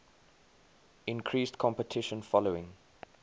increased competition following